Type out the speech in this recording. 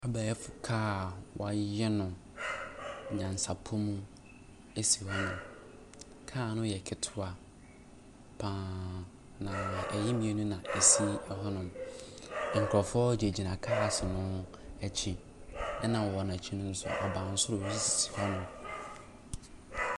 Abɛɛfo car wɔayɛ no nyansapɔ mu esi hɔ nom. Car no yɛ ketewa paa na ɛyɛ mmienu na esi ɛhɔ nom. Nkorɔfoɔ gyinagyina cars n'akyi. Ɛna ɛwɔ n'akyi no nso abansoro bi sisi hɔ nom.